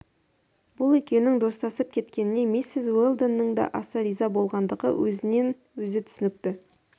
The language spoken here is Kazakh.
бұл екеуінің достасып кеткеніне миссис уэлдонның да аса риза болғандығы өзінен өзі түсінікті